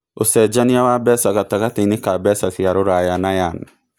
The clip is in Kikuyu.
ũcenjanĩa wa mbeca gatagatĩinĩ ka mbeca cia rũraya na yan